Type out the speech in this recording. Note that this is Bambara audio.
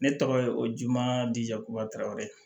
Ne tɔgɔ ye o madu jakuratɛrɛw